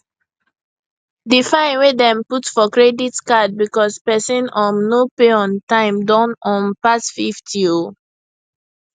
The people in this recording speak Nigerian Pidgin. di fine wey dem put for credit card because persin um no pay on time don um pass 50 um